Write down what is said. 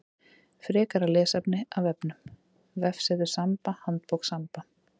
Frekara lesefni af vefnum: Vefsetur Samba Handbók Samba.